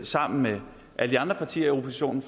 sammen med alle de andre partier i oppositionen